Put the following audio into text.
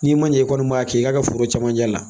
N'i man ɲɛ i kɔni b'a kɛ i ka foro camanjɛ la